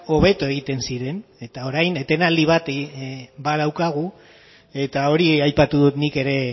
hobeto egiten ziren eta orain etenaldi bat badaukagu eta hori aipatu dut nik ere